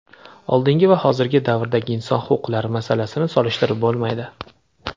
oldingi va hozirgi davrdagi inson huquqlari masalasini solishtirib bo‘lmaydi.